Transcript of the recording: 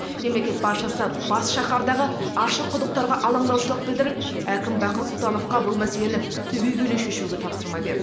мемлекет басшысы бас шаһардағы ашық құдықтарға алаңдаушылық білдіріп әкім бақыт сұлтановқа бұл мәселені түбегейлі шешуге тапсырма берді